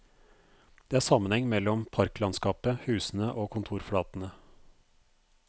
Det er sammenheng mellom parklandskapet, husene og kontorflatene.